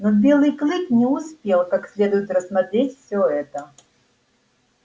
но белый клык не успел как следует рассмотреть всё это